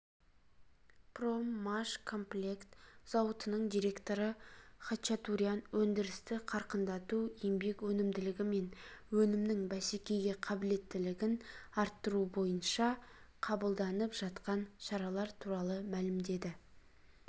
проммашкомплект зауытының директоры хачатурян өндірісті қарқындату еңбек өнімділігі мен өнімнің бәсекеге қабілеттілігін арттыру бойынша қабылданып жатқан шаралар туралы мәлімдеді